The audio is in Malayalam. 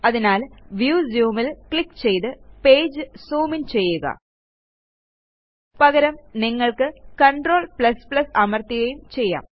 അതിനാൽ വ്യൂ Zoomൽ ക്ലിക്ക് ചെയ്ത് പേജ് ജൂം ഇൻ ചെയ്യുക പകരം നിങ്ങൾക്ക് Ctrl അമർത്തുകയും ചെയ്യാം